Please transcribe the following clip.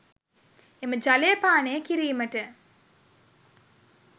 එම ජලය පානය කිරීමට